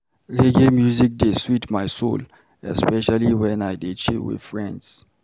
Reggae music dey sweet my soul, especially wen I dey chill with friends.